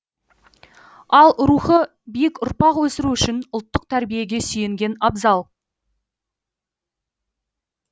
ал рухы биік ұрпақ өсіру үшін ұлттық тәрбиеге сүйенген абзал